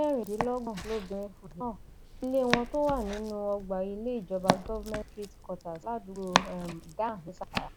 ẹni ọdún mẹrìndínlọgbọn lobìnrin um náà ilé wọn tó wà nínú ọgbà ilé ìjọba government street quarters ládùúgbò um damma ní zamfara